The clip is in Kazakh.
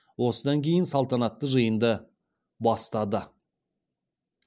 осыдан кейін салтанатты жиынды бастады